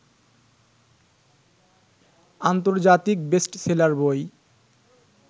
আন্তর্জাতিক বেস্টসেলার বই